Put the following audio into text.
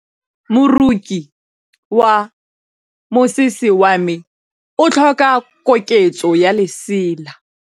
Moroki wa mosese wa me o tlhoka koketsô ya lesela.